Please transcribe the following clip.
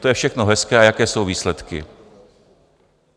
To je všechno hezké - a jaké jsou výsledky?